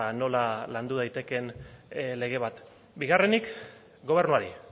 nola landu daitekeen lege bat bigarrenik gobernuari